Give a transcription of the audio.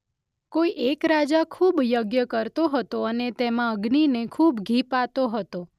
કોઈ એક રાજા ખૂબ યજ્ઞ કરતો હતો અને તેમાં અગ્નિને ખૂબ ઘી પાતો હતો.